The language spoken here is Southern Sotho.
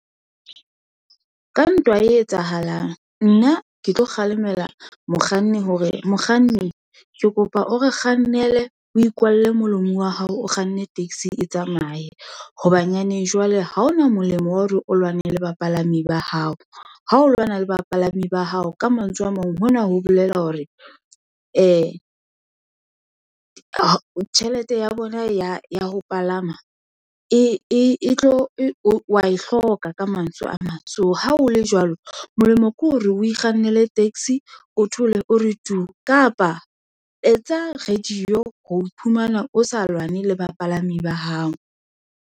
Ka ntwa e etsahalang, nna ke tlo kgalemela mokganni, hore mokganni ke kopa o re kgannele o ikwalle molomo wa hao, o kganne taxi e tsamaye, hobanyaneng jwale ha hona molemo wa hore o lwanele bapalami ba hao, ha o lwana le bapalami ba hao. Ka mantswe a mang, hona ho bolela hore, ee, tjhelete ya bona ya ho palama, E tlo wa e hloka ka mantswe a mang. So ha ho le jwalo, molemo ke hore o kgannele taxi, o thole o re tu, kapa etsa radio ho iphumana o sa lwane le bapalami ba hao.